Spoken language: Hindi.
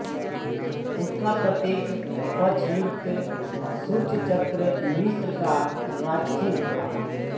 उसका प्रतीक पक्षयुक्त सूर्चचक्र मिस्र का राजचिह्न था